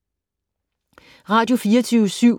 Radio24syv